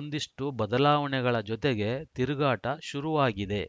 ಒಂದಿಷ್ಟುಬದಲಾವಣೆಗಳ ಜೊತೆಗೆ ತಿರುಗಾಟ ಶುರುವಾಗಿದೆ